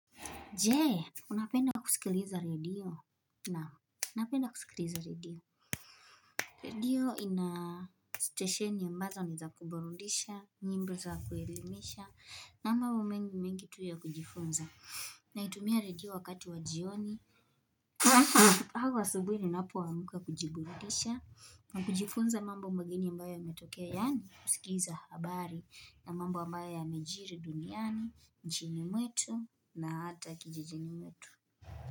Je unapenda kusikiliza radio naam napenda kusikiliza radio radio ina stesheni ambazo ni za kuburudisha nyimbo za kuelimisha na mambo mengi mengi tu ya kujifunza naitumia radio wakati wa jioni au asubuhi ninapoamka kujiburudisha na kujifunza mambo mageni ambayo yametokea mbaya ametokea yaani kusikiza habari na mambo ambayo yamejiri duniani nchini mwetu na hata kijijini mwetu.